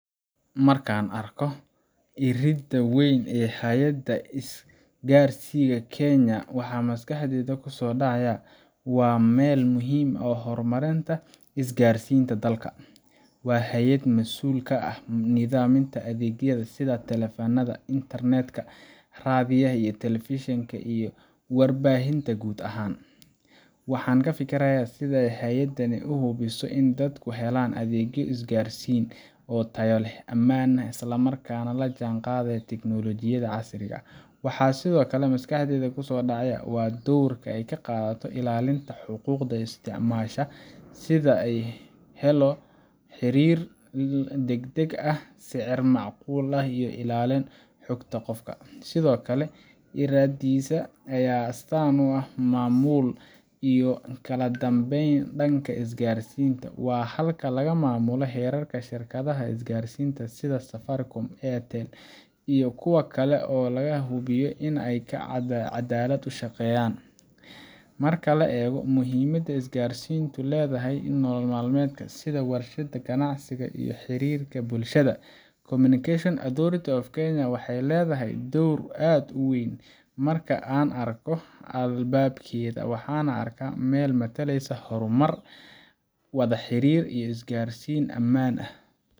Marka aan arko iridda weyn ee Hay’adda Isgaarsiinta Kenya, waxa maskaxdayda ku soo dhacaya waa meel muhiim u ah horumarinta isgaarsiinta dalka. Waa hay’ad masuul ka ah nidaaminta adeegyada sida taleefannada, internet-ka, raadiyaha, telefishinka, iyo warbaahinta guud ahaan. Waxaan ka fikirayaa sida hay’adani ay u hubiso in dadku helaan adeegyo isgaarsiin oo tayo leh, ammaan ah, isla markaana la jaanqaadaya tiknoolajiyadda casriga ah. Waxaa sidoo kale maskaxdayda ku soo dhacaya doorka ay ka qaadato ilaalinta xuquuqda isticmaalayaasha, sida in la helo xiriir degdeg ah, sicir macquul ah, iyo ilaalin xogta qofka. Sidoo kale, iriddaasi waxay astaan u tahay maamulka iyo kala dambeynta dhanka isgaarsiinta. Waa halka laga maamulo xeerarka shirkadaha isgaarsiinta, sida Safaricom, Airtel, iyo kuwa kale, si loo hubiyo inay si caddaalad ah u shaqeeyaan. Marka la eego muhiimadda isgaarsiintu ku leedahay nolol maalmeedka — sida waxbarashada, ganacsiga, iyo xiriirka bulshada Communication Authority of Kenya waxay leedahay door aad u weyn. Marka aan arko albaabkeeda, waxaan arkaa meel matalaysa horumar, wada xiriir, iyo isgaarsiin ammaan ah